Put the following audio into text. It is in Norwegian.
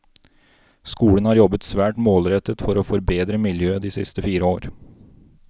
Skolen har jobbet svært målrettet for å forbedre miljøet de siste fire år.